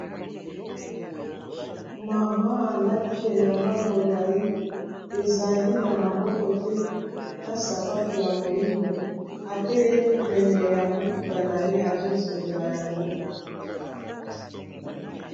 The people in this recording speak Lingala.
Mama alati elamba molayi ezali na maboko te na sapato ya moyindo atelemi pene ya motuka na ye azofungola yango.